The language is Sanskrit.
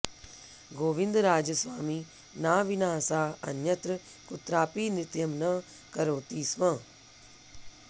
गोविन्दराजस्वामिना विना सा अन्यत्र कुत्रापि नृत्यं न करोति स्म